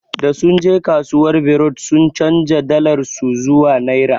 Da sunje kasuwar berut sun chanja dalar su zuwa naira.